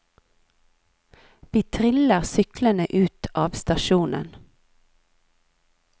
Vi triller syklene ut av stasjonen.